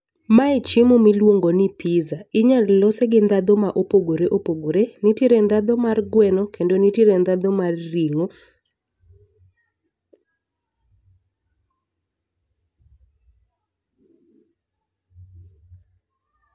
Mae chiemo miluongo ni pizza. Inyalo lose gi ndhadhu ma opogore opogore. Nitiere ndhadhu mar gweno kendo nitiere ndhadhu mar ring'o